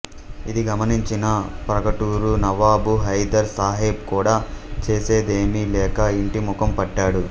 ఇది గమనించిన ప్రాగటూరు నవాబు హైదర్ సాహెబ్ కూడా చేసేదేమిలేక ఇంటి ముఖం పట్టాడు